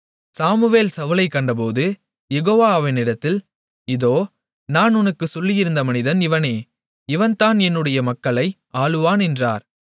Samuel சவுலைக் கண்டபோது Jehovah அவனிடத்தில் இதோ நான் உனக்குச் சொல்லியிருந்த மனிதன் இவனே இவன்தான் என்னுடைய மக்களை ஆளுவான் என்றார்